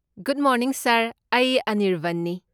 Good morning sir, ꯑꯩ ꯑꯅꯤꯔꯕꯟꯅꯤ꯫